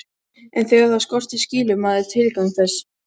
En þegar það skortir skilur maður tilgang þess.